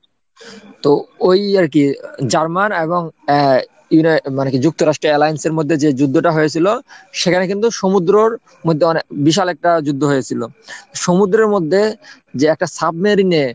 তো ওই আর কি জার্মান এবং আহ মানে কি যুক্তরাষ্ট্রের alliance মধ্যে যে যুদ্ধটা হয়েছিল, সেখানে কিন্তু সমুদ্রর মধ্যে অনেক বিশাল একটা যুদ্ধ হয়েছিল। সমুদ্রের মধ্যে যে একটা সাবমেরিনে,